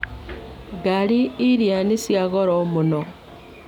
Ngari iria nĩ cia goro mũno.